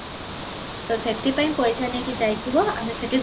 ତ ସେଠି ପାଇଁ ପଇସା ନେଇକି ଯାଇଥିବ ଆମେ ସେଠି